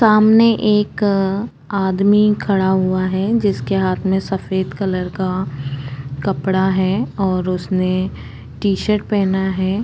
सामने एक आदमी खड़ा हुआ है जिसके हाथ में सफ़ेद कलर का कपड़ा है और उसने टीशर्ट पहना है।